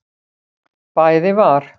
Bæði var